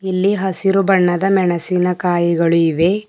ಇಲ್ಲಿ ಹಸಿರು ಬಣ್ಣದ ಮೆಣಸಿನಕಾಯಿಗಳು ಇವೆ.